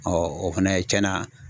o fana ye cɛn na